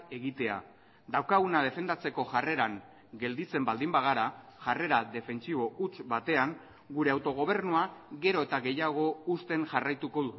egitea daukaguna defendatzeko jarreran gelditzen baldin bagara jarrera defentsibo huts batean gure autogobernua gero eta gehiago husten jarraituko